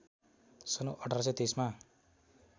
सन् १८२३ मा